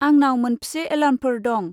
आंनाव मोनफ्से एलार्मफोर दं?